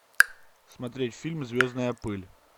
смотреть фильм звездная пыль